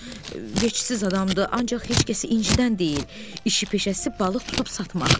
Veksiz adamdır, ancaq heç kəsi incitən deyil, işi peşəsi balıq tutub satmaqdır.